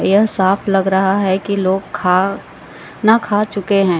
यह साफ लग रहा है की लोग खा ना खा चुके है।